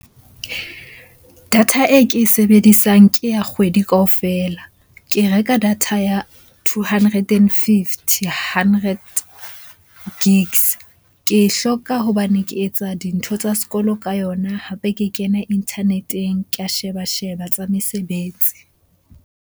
Data e ke e sebedisang ke ya kgwedi kaofela. Ke reka data ya two hundred and fifty hundred gigs. Ke hloka hobane ke etsa dintho tsa sekolo ka yona, hape ke kena internet-eng. Ke a sheba-sheba tsa mesebetsi.